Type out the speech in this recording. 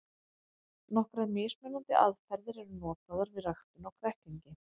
Nokkrar mismunandi aðferðir eru notaðar við ræktun á kræklingi.